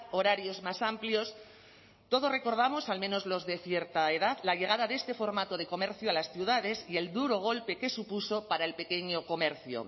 horarios más amplios todos recordamos al menos los de cierta edad la llegada de este formato de comercio a las ciudades y el duro golpe que supuso para el pequeño comercio